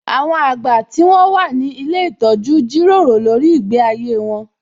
Àwọn àgbà tí wón wà ní ilé ìtọ́jú jíròrò lórí ìgbé ayé wón